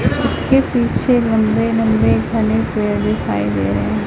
इसके पीछे लंबे लंबे घने पेड़ दिखाई दे रहे है।